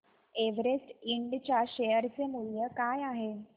Everest इंड च्या share चे मूल्य काय आहे